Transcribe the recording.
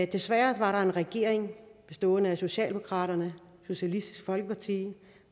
desværre var der en regering bestående af socialdemokratiet socialistisk folkeparti